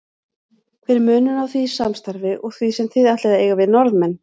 Hver er munurinn á því samstarfi og því sem þið ætlið að eiga við Norðmenn?